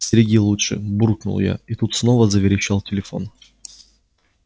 стереги лучше буркнул я и тут снова заверещал телефон